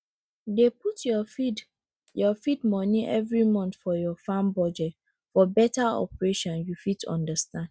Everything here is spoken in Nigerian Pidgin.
dey put your feed your feed money every month for your farm budget for better operation you fit understand